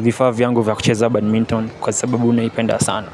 vifa vyangu vya kucheza badminton kwa sababu naipenda sana.